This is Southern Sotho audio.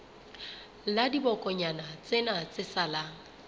la dibokonyana tsena tse salang